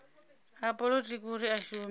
a polotiki uri a shume